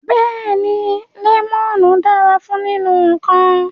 Beeni, lemonu dara fun ninu nkan